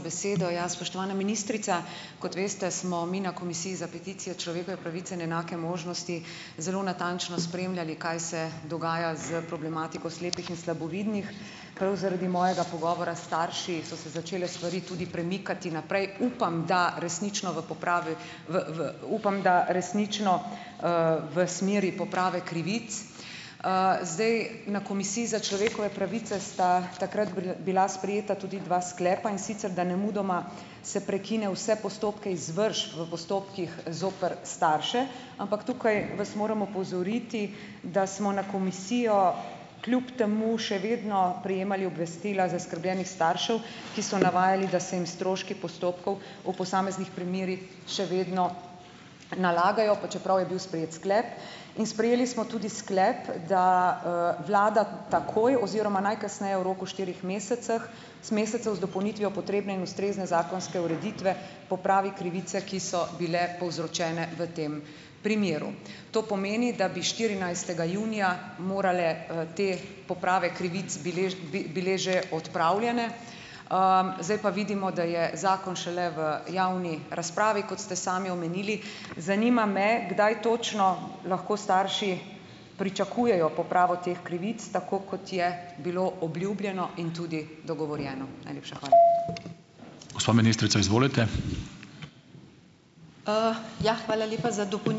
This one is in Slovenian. ()besedo. Ja, spoštovana ministrica, kot veste, smo mi na Komisiji za peticije, človekove pravice in enake možnosti zelo natančno spremljali, kaj se dogaja s problematiko slepih in slabovidnih. Prav zaradi mojega pogovora s starši so se začele stvari tudi premikati naprej. Upam, da resnično v upam, da resnično, v smeri poprave krivic. zdaj, na Komisiji za človekove pravice sta takrat bila sprejeta tudi dva sklepa, in sicer , da nemudoma se prekine vse postopke izvršb v postopkih zoper starše, ampak tukaj vas moram opozoriti, da smo na komisijo, kljub temu še vedno prejemali obvestila zaskrbljenih staršev, ki so navajali, da se jim stroški postopkov v posameznih primerih še vedno nalagajo, pa čeprav je bil sprejet sklep. In sprejeli smo tudi sklep, da, vlada takoj oziroma najkasneje v roku štirih mesecev z dopolnitvijo potrebne in ustrezne zakonske ureditve popravi krivice, ki so bile povzročene v tem primeru. To pomeni, da bi štirinajstega junija morale, te poprave krivic bile že odpravljene. zdaj pa vidimo, da je zakon šele v javni razpravi, kot ste sami omenili. Zanima me, kdaj točno lahko starši pričakujejo popravo teh krivic, tako kot je bilo obljubljeno in tudi dogovorjeno? Najlepša hvala .